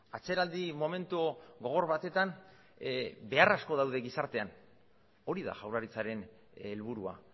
atzeraldi momentu gogor batetan behar asko daude gizartean hori da jaurlaritzaren helburua